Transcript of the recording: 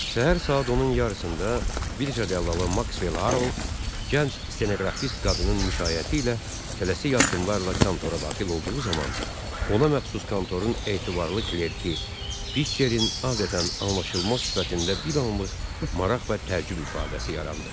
Səhər saat onun yarısında birja dəllalı Maxwell Haroll gənc stenoqrafist qadının müşayiəti ilə tələsik addımlarla kontora daxil olduğu zaman ona məxsus kontorun etibarlı klərki Pitcherin adətən anlaşılmaz sifətində bir anlıq maraq və təəccüb ifadəsi yarandı.